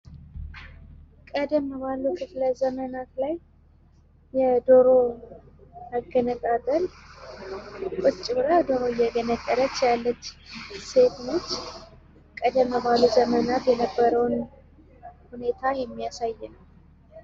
ቀደም ባለ ዘመናት ላይ የዶሮ መገነጣጠል ቁጭ ብላ ዶሮ እየገነጣጠለች ያለች ሴት ናት። ቀደም ባለ ዘመናት የነበረውን የሚያሳይ ነው ።